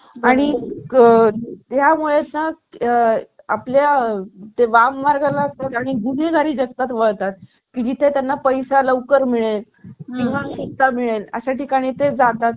आठ हजार रुपये मला अपेक्षित आहे आणि त्याची अधिक माहिती सांगायची झाली तर सोबत त्याच्या stabilizer आणि stand सुद्धा उपलब्ध आहे माझ्याकडे